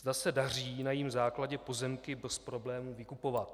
Zda se daří na jejím základě pozemky bez problémů vykupovat.